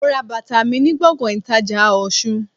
Mo ra bàtà mi ni gbòngàn ìtajà Òsun